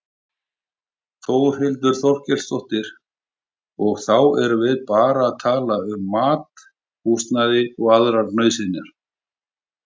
Þórhildur Þorkelsdóttir: Og þá erum við bara að tala um mat, húsnæði og aðrar nauðsynjar?